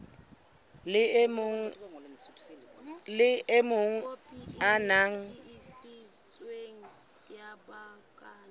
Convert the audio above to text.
le o mong o na